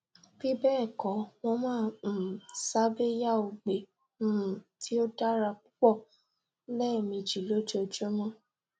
bibẹ́ẹ̀kọ́ mo máa um sábéyá ògbe um tí ó dára púpọ̀ lẹ́ẹ̀mejì lójoojúmọ́